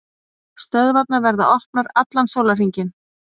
Stöðvarnar verða opnar allan sólarhringinn